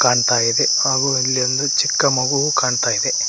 ಕಾಣ್ತಾ ಇದೆ ಹಾಗೂ ಇಲ್ಲೊಂದು ಚಿಕ್ಕ ಮಗು ಕಾಣ್ತಾ ಇದೆ.